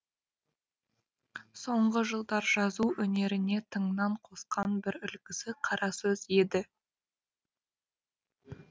соңғы жылдар жазу өнеріне тыңнан қосқан бір үлгісі қара сөз еді